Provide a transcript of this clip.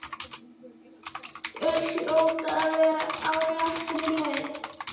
Þau hljóta að vera á réttri leið.